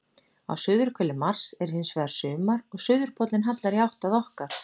Á suðurhveli Mars er hins vegar sumar og suðurpóllinn hallar í átt að okkar.